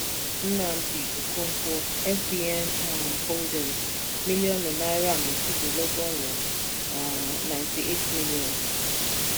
nnamdi okonkwo fbn um holdings mílíọ̀nù náírà méjìdínlọ́gọ́rùn-ún um ninety eight million